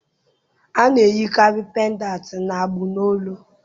A na-eyikarị pendantị n'agbụ n'olu